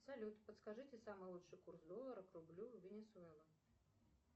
салют подскажите самый лучший курс доллара к рублю венесуэла